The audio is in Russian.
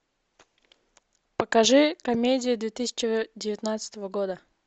покажи комедии две тысячи девятнадцатого года